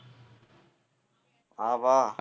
வா வா